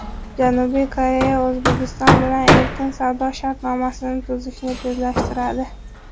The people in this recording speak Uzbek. Janubiy Koreya O‘zbekiston bilan Erkin savdo shartnomasini tuzishni tezlashtiradi.